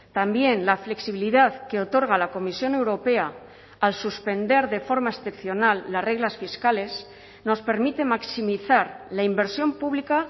también la flexibilidad que otorga la comisión europea al suspender de forma excepcional las reglas fiscales nos permite maximizar la inversión pública